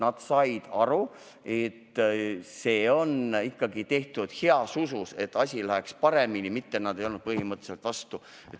Nad said aru, et see ettepanek on tehtud heas usus, et asi läheks paremini, mitte nad ei olnud põhimõtteliselt vastu.